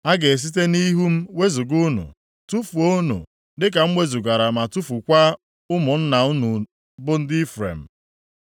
A ga-esite nʼihu m wezuga unu, tufuo unu, dịka m wezugara ma tufukwaa ụmụnna unu, bụ ndị Ifrem.’